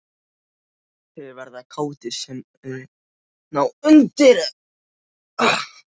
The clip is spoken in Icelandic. Þeir verða kátir sem ná undir sig jörðum og skreið.